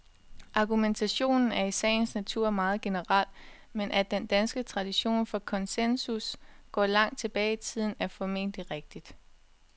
Argumentationen er i sagens natur meget generel, men at den danske tradition for konsensus går langt tilbage i tiden, er formentlig rigtigt.